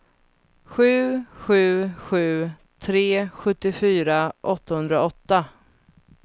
sju sju sju tre sjuttiofyra åttahundraåtta